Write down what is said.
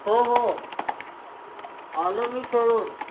हो हो आलो मी खेळून.